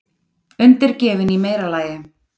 Undirgefin í meira lagi.